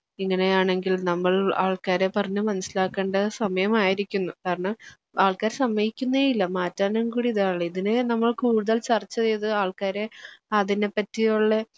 ഇങ്ങനെയാണെങ്കിൽ നമ്മൾ ആൾക്കാരെ പറഞ്ഞ് മനസ്സിലാക്കേണ്ട സമയം ആയിരിക്കുന്നു കാരണം ആൾക്കാർ സമ്മതിക്കുന്നേയില്ല മാറ്റാനും കൂടി ഇതിനെ നമ്മൾ കൂടുതൽ ചർച്ച ചെയ്ത് ആൾക്കാരെ അതിനെപ്പറ്റിയുള്ള